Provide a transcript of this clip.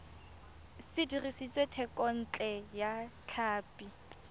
se dirisitswe thekontle ya tlhapi